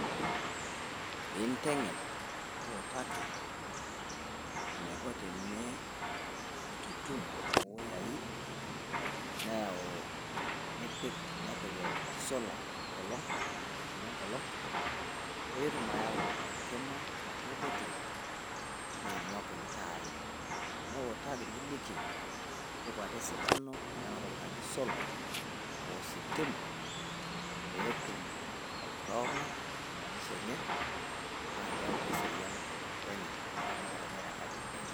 Piinteny'en niutaaki enaiko tene etutum weyaii neyau nipiik, nepiik esola enkolok wejii etutume ngolok pee etuum ayau enkimaa atua ilbeetiri nenuak iltaai. Neutaki niliki ntepaa etuu esidanuu anatooki naji sola o stima pee etum aitowoang' emainisho enye na keyau ake serian elototo enye o ramatata enye te enkajii enye.